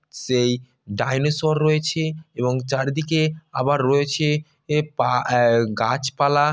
সেই ডাইনোসর রয়েছে এবং চারিদিকে আবার রয়েছে এ পা অ্যা গাছপালা।